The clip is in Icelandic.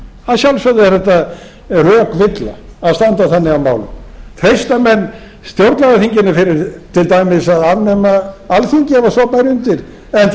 að sjálfsögðu er átt rökvilla að standa þannig að málum treysta menn stjórnlagaþinginu til dæmis til að afnema alþingi ef svo bæri